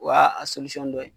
O y'a a dɔ ye.